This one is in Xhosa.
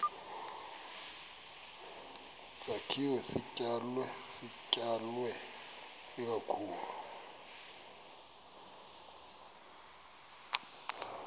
sakhiwo sidalwe ikakhulu